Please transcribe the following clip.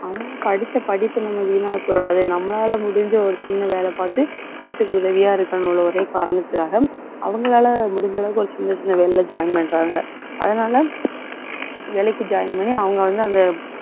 அவங்க படிச்ச படிப்பு நம்ம வீணாகி போயிடாது. நம்மளால முடிஞ்ச ஒரு சின்ன வேலை பார்த்து வீட்டுக்கு உதவியா இருக்கணும்னு ஒரே காரணத்துக்காக அவங்களால, முடிஞ்ச அளவுக்கு ஒரு சின்ன, சின்ன வேலையில join பண்றாங்க. அதனால, வேலைக்கு join பண்ணி அவங்க வந்து அந்த